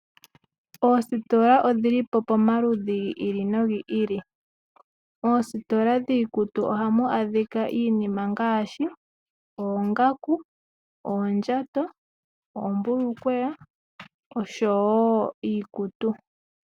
Oositola odhi li po pamaludhi gi ili nogi ili. Moositola dhiikutu ohamu adhika iinima ngaashi oongaku, oondjato, oombulukweya noshowo iikutu.